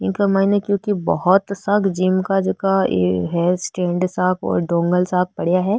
इक माइन क्योंकि बहोत सा जिम का जका है स्टेण्ड सा डोंगल सा पड़ा है।